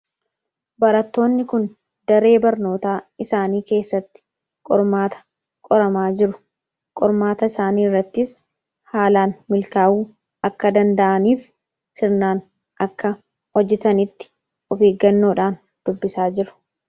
barattoonni kun daree barnootaa isaanii keessatti qormaata qoramaa jiru. Qormaata isaanii irrattis haalaan milkaa'uu akka danda'aniif sirnaan akka hojjetanitti of eggannoodhaan dubbisaa jiru.